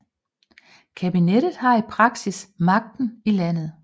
Kabinettet har i praksis magten i landet